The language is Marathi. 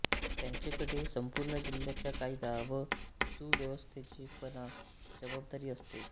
त्यांचेकडे संपूर्ण जिल्ह्याच्या कायदा व सुव्यवस्थेचीपण जबाबदारी असते